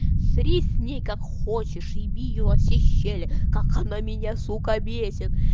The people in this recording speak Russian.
сри с ней как хочешь еби её во все щели как она меня сука бесит